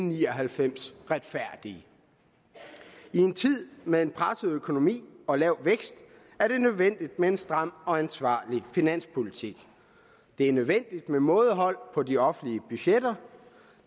ni og halvfems retfærdige i en tid med en presset økonomi og lav vækst er det nødvendigt med en stram og ansvarlig finanspolitik det er nødvendigt med mådehold på de offentlige budgetter